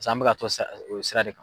an bɛka t'o sira o sira de kan.